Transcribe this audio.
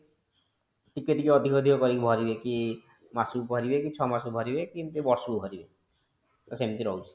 ଟିକେ ଟିକେ ଅଧିକ ଅଧିକ କରିକି ଭରିବେ କି ମାସ କୁ ଭରିବେ କି ଛଅ ମାସକୁ ଭରିବେ କି ଏମିତି ବର୍ଷକୁ ଭରିବେ ତ ସେମିତି ରହୁଛି